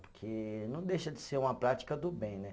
Porque não deixa de ser uma prática do bem, né?